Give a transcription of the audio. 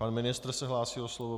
Pan ministr se hlásí o slovo.